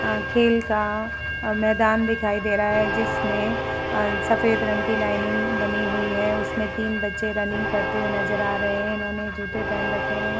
अ खेल का मैदान दिखाई दे रहा है जिसमें अ सफेद रंग की लाइनिंग बनी हुई है। उसमें तीन बच्चे रनिंग करते हुए नजर आ रहे हैं। इन्होंने जूते पेहेन रखे हैं।